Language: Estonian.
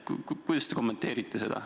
Kuidas te seda kommenteerite?